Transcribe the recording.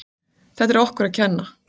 Þetta er okkur að kenna.